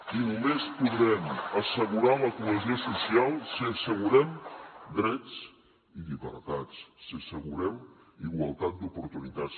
i només podrem assegurar la cohesió social si assegurem drets i llibertats si assegurem igualtat d’oportunitats